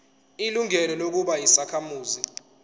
ilungelo lokuba yisakhamuzi